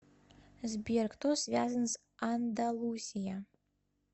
сбер кто связан с андалусия